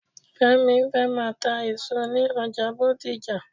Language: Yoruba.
Fẹ́mi fẹ́ máa ta èso ní ọjà Bódìjà.